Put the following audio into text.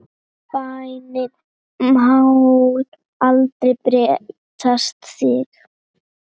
Bænin má aldrei bresta þig!